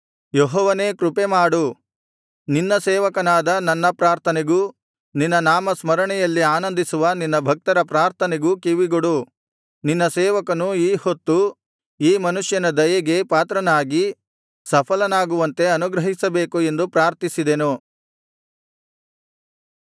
ಯೆಹೋವನೇ ಕೃಪೆಮಾಡು ನಿನ್ನ ಸೇವಕನಾದ ನನ್ನ ಪ್ರಾರ್ಥನೆಗೂ ನಿನ್ನ ನಾಮ ಸ್ಮರಣೆಯಲ್ಲಿ ಆನಂದಿಸುವ ನಿನ್ನ ಭಕ್ತರ ಪ್ರಾರ್ಥನೆಗೂ ಕಿವಿಗೊಡು ನಿನ್ನ ಸೇವಕನು ಈಹೊತ್ತು ಈ ಮನುಷ್ಯನ ದಯೆಗೆ ಪಾತ್ರನಾಗಿ ಸಫಲನಾಗುವಂತೆ ಅನುಗ್ರಹಿಸಬೇಕು ಎಂದು ಪ್ರಾರ್ಥಿಸಿದೆನು